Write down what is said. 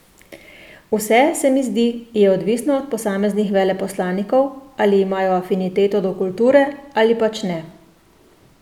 Vse, se mi zdi, je odvisno od posameznih veleposlanikov, ali imajo afiniteto do kulture ali pač ne...